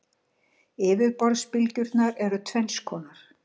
Yfirborðsbylgjurnar eru tvenns konar.